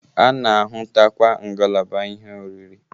A na-ahụtakwa ngalaba ihe oriri.